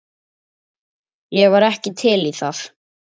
Ég var ekki til í það.